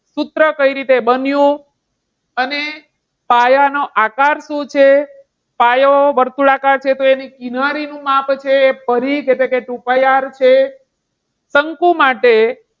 સૂત્ર કઈ રીતે બન્યું અને પાયાનો આકાર શું છે. પાયો વર્તુળાકાર છે તો એની કિનારી નું માપ જે છે એ પરિઘ એટલે કે two pi R છે. શંકુ માટે